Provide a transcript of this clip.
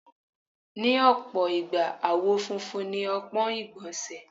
Ní ọ̀pọ̀ ìgbà, àwọ̀ funfun ni ọpọ́n ìgbọ̀nsẹ̀.